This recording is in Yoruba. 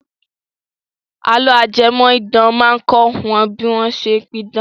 Àlọ́ ajẹmọ̀-idán máa kọ́ wa bí wọ́n ṣe pidán.